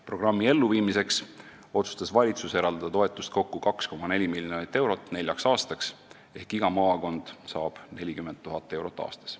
Programmi elluviimiseks otsustas valitsus eraldada kokku 2,4 miljonit eurot toetust neljaks aastaks ehk iga maakond saab 40 000 eurot aastas.